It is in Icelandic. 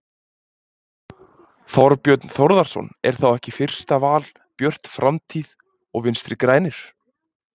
Þorbjörn Þórðarson: Er þá ekki fyrsta val Björt framtíð og Vinstri-grænir?